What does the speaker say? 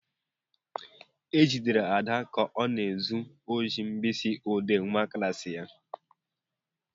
E jidere Ada ka ọ na-ezu ohi mkpịsị ọdee nwa klassị ya.